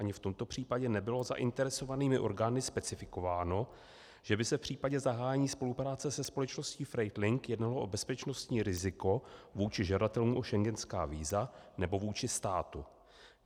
Ani v tomto případě nebylo zainteresovanými orgány specifikováno, že by se v případě zahájení spolupráce se společností FREIGHT LINK jednalo o bezpečnostní riziko vůči žadatelům o schengenská víza nebo vůči státu.